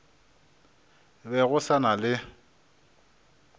be go sa na le